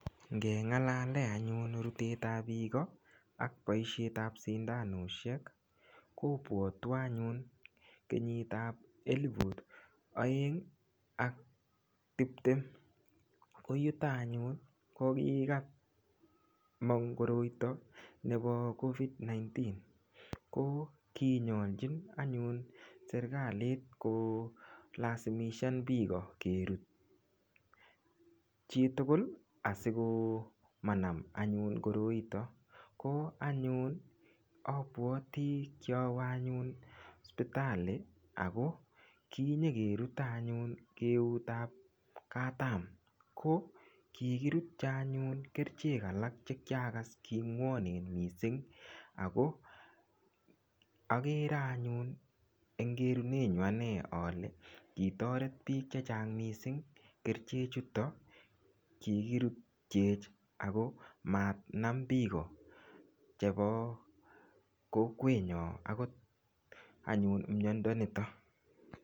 Ngelalee anyun rutet ap piiko ak poishet ap sindanoshek kopwotwo anyun kenyit ap elipu oeng ak tiptem, koyuto anyun ko kikamong koroito nepo COVID-19 ko kinyorchin anyun serikalit kolasimishan piko kerut chitugul asiko manam anyun koroito ko anyun apuoti kiawe anyun sipitali Ako kinyekeruto anyun keut ap katam, ko kikirutcho anyun kerichek alak koalas king'wanen mising ako agere anyun eng kerunenyu ane ale kitaret piik chechang mising kerche chuto kikirutchech Ako manam piko chebo kokwenyo akot anyun miondo nitok.